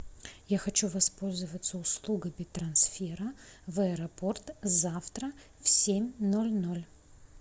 я хочу воспользоваться услугами трансфера в аэропорт завтра в семь ноль ноль